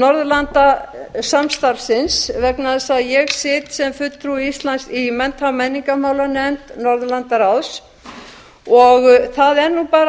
norðurlandasamstarfsins vegna þess að ég sit sem fulltrúi íslands í mennta og menningarmálanefnd norðurlandaráðs og það er bara